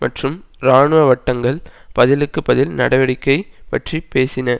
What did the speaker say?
மற்றும் இராணுவ வட்டங்கள் பதிலுக்குப் பதில் நடவடிக்கை பற்றி பேசின